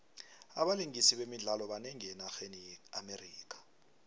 abalingisi bemidlalo banengi enarheni ye amerika